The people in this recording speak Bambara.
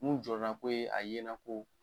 Mun jɔrɔna ko ye a yeɲɛna ko